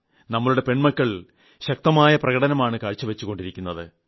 നമ്മുടെ പെൺകുട്ടികൾ ശക്തമായ പ്രകടനമാണ് കാഴ്ചവച്ചുകൊണ്ടിരിക്കുന്നത്